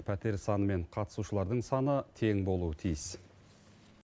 пәтер саны мен қатысушылардың саны тең болуы тиіс